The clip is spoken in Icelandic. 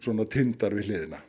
tindar við hliðina